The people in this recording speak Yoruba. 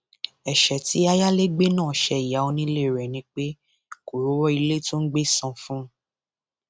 ẹṣẹ tí ayálégbé náà ṣe ìyá onílé rẹ ni pé kó rówó ilé tó ń gbé san fún un